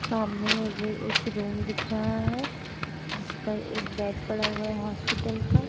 सामने मुझे एक रूम दिख रहा है जिस पर एक बैड पड़ा हुआ है हॉस्पिटल का।